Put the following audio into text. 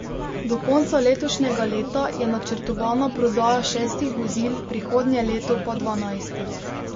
Do konca letošnjega leta je načrtovana prodaja šestih vozil, prihodnje leto pa dvanajstih.